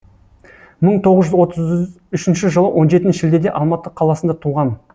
мың тоғыз жүз отыз үшінші жылы он жетінші шілдеде алматы қаласында туған